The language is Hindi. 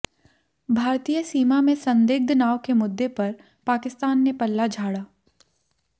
भारतीय सीमा में संदिग्ध नाव के मुद्दे पर पाकिस्तान ने पल्ला झाड़ा